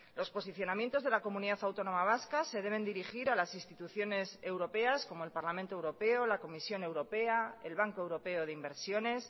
los posicionamientos de la comunidad autónoma vasca se deben dirigir a las instituciones europeas como el parlamento europeo la comisión europea el banco europeo de inversiones